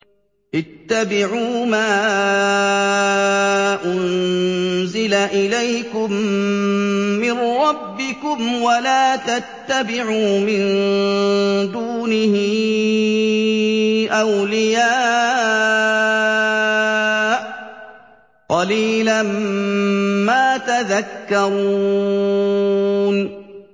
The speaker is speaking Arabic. اتَّبِعُوا مَا أُنزِلَ إِلَيْكُم مِّن رَّبِّكُمْ وَلَا تَتَّبِعُوا مِن دُونِهِ أَوْلِيَاءَ ۗ قَلِيلًا مَّا تَذَكَّرُونَ